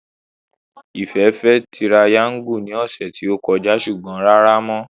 Ìfẹ́ fẹ́ tirayáńgù ní ọ̀sẹ̀ tí ó kọjá ṣùgbọ́n rárá mọ́